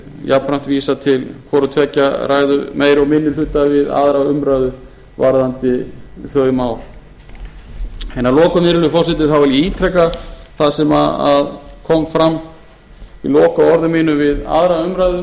jafnframt vísa til hvoru tveggja ræðu meiri og minni hluta við aðra umræðu varðandi þau mál að lokum vil ég virðulegi forseti ítreka það sem kom fram í lokaorðum mínum við aðra umræðu að